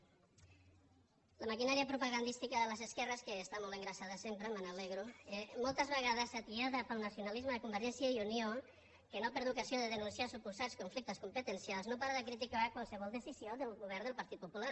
la maquinària propagandística de les esquerres que està molt engreixada sempre me n’alegro eh moltes vegades atiada pel nacionalisme de convergència i unió que no perd ocasió de denunciar suposats conflictes competencials no para de criticar qualsevol decisió del govern del partit popular